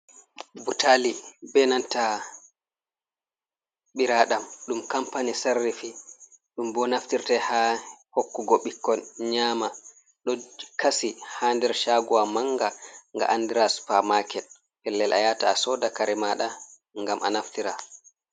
Butali be nanta ɓiraɗam dum kampani sarrifi dum bo naftirtai ha hokkugo bikkon nyama, do kasi ha nder shaguwa manga ga anidra supamaket pellel a yata a soda kare mada gam a naftira.